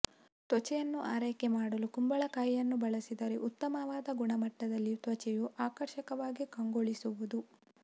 ತ್ವಚೆಯನ್ನು ಆರೈಕೆ ಮಾಡಲು ಕುಂಬಳಕಾಯಿಯನ್ನು ಬಳಸಿದರೆ ಉತ್ತಮವಾದ ಗುಣಮಟ್ಟದಲ್ಲಿ ತ್ವಚೆಯು ಆಕರ್ಷಕವಾಗಿ ಕಂಗೊಳಿಸುವುದು